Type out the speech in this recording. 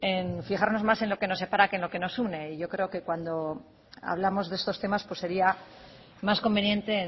en fijarnos más en lo que nos separa que en lo que nos une y yo creo que cuando hablamos de estos temas sería más conveniente